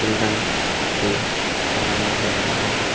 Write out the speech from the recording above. Children's day बनाया जा रहा है।